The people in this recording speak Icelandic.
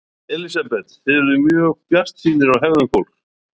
Elísabet: Þið eruð mjög bjartsýnir á hegðun fólks?